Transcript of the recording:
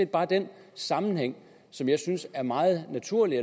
bare den sammenhæng som jeg synes er meget naturlig